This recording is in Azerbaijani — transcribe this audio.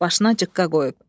Başına cıqqa qoyub.